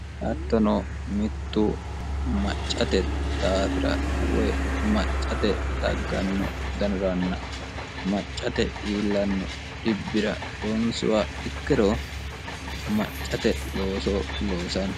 hattono mittu maccate daafira woy maccate dagganno danuranna maccate iillanno dhibbi'ra loonsiha ikkiro maccate looso loosanno